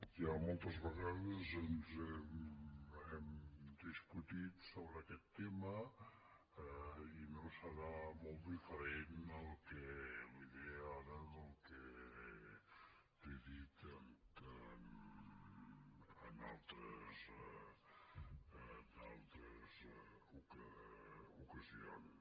ja moltes vegades hem discutit sobre aquest tema i no serà molt diferent el que li diré ara del que li he dit en altres ocasions